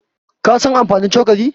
Ka san amfanin cokali?